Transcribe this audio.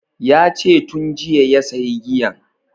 Yace tun jiya ya sayi giyan